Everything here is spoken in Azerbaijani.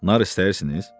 Nar istəyirsiniz?